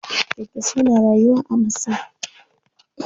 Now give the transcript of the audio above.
Kyankyasai na rayuwa a masai.